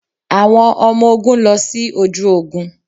Àwọn ọmọ ogún lọ sí ojú ogún.